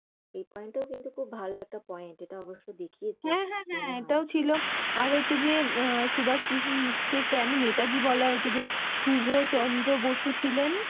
এই Point টা কিন্তু খুব ভালো একটা Point এটা অব্যশই দেখিয়েছে। হ্যাঁ, হ্যাঁ এটাও ছিল। আর হচ্ছে যে, সুভাষ কেন নেতাজী বলা হইছে? যে, শুভ চন্দ্র বসু ছিলেন